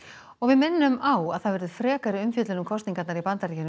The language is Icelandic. og við minnum á að það verður frekari umfjöllun um kosningarnar í Bandaríkjunum